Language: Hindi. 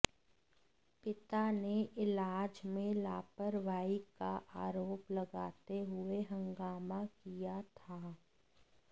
पिता ने इलाज में लापरवाही का आरोप लगाते हुए हंगामा किया था